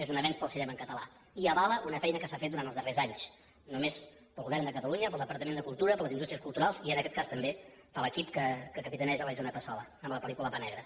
és un avenç per al cinema en català i avala una feina que s’ha fet durant els darrers anys només pel govern de catalunya pel departament de cultura per les indústries culturals i en aquest cas també per l’equip que capitaneja la isona passola amb la pel·lícula pa negre